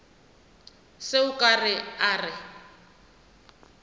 se a ka a re